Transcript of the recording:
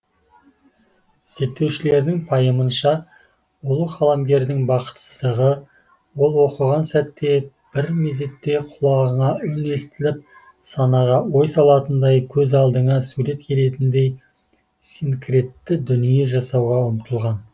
зерттеушілердің пайымынша ұлы қаламгердің бақытсыздығы ол оқыған сәтте бір мезетте құлағыңа үн естіліп санаға ой салатындай көз алдыңа сурет келетіндей синкретті дүние жасауға ұмтылған